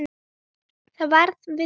Það varð við því.